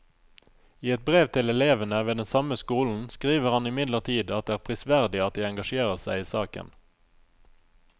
I et brev til elevene ved den samme skolen skriver han imidlertid at det er prisverdig at de engasjerer seg i saken.